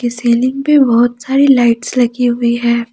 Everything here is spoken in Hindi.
सीलिंग पे बहुत सारी लाइट्स लगी हुई है।